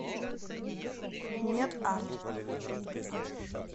мед арт